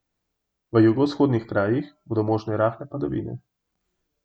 V jugovzhodnih krajih bodo možne rahle padavine.